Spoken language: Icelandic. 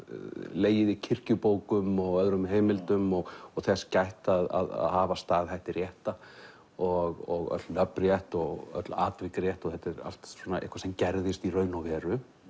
legið í kirkjubókum og öðrum heimildum og og þess gætt að hafa staðhætti rétta og öll nöfn rétt og öll atvik rétt þetta er allt eitthvað sem gerðist í raun og veru